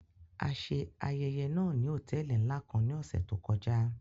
A ṣe ayẹyẹ náa ni hotẹẹli nla kan ni ọsẹ to kọja.